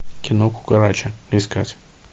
кино кукарача искать